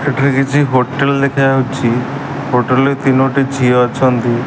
ଏଠାରେ କିଛି ହୋଟେଲ୍ ଦେଖାଯାଉଛି ହୋଟେଲ୍ ରେ ତିନୋଟି ଝିଅ ଅଛନ୍ତି।